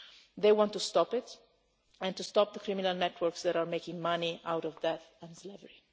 They want to stop it and to stop the criminal networks that are making money out of death and slavery.